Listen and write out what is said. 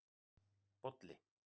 Bolli